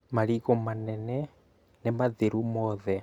marĩgũ manene nĩmathiru mothe